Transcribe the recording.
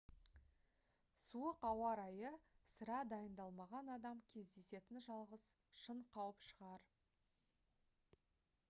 суық ауа райы сірә дайындалмаған адам кездесетін жалғыз шын қауіп шығар